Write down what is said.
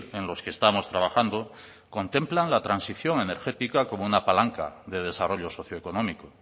en los que estamos trabajando contemplan la transición energética como una palanca de desarrollo socioeconómico